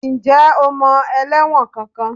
Ǹjẹ́ o mọ ẹlẹ́wọ̀n kankan?